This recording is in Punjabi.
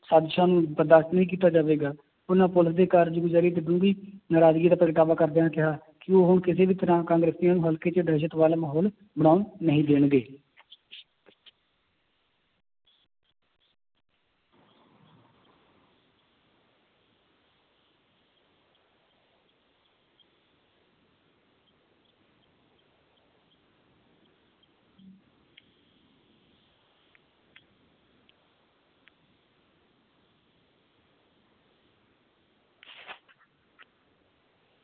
ਸਾਜ਼ਿਸ਼ਾਂ ਨੂੰ ਬਰਦਾਸ਼ਤ ਨਹੀਂ ਕੀਤਾ ਜਾਵੇਗਾ, ਉਹਨਾਂ ਪੁਲਿਸ ਦੇ ਕਾਰਜਗੁਜ਼ਾਰੀ ਸੰਬੰਧੀ ਨਰਾਜ਼ਗੀ ਦਾ ਪ੍ਰਗਟਾਵਾ ਕਰਦਿਆਂ ਕਿਹਾ ਕਿ ਉਹ ਕਿਸੇ ਵੀ ਤਰ੍ਹਾਂ ਕਾਂਗਰਸੀਆਂ ਨੂੰ ਹਲਕੇ ਵਿੱਚ ਦਹਿਸ਼ਤ ਵਾਲਾ ਮਾਹੌਲ ਬਣਾਉਣ ਨਹੀਂ ਦੇਣਗੇ।